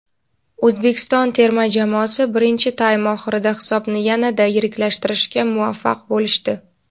O‘zbekiston terma jamoasi birinchi taym oxirida hisobni yanada yiriklashtirishga muvaffaq bo‘lishdi.